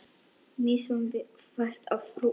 Misstuð þér þetta, frú!